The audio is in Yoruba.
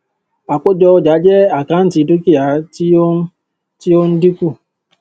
àkójọ ọjà jẹ àkáǹtì dúkìá tí ó ń tí ó ń dínkù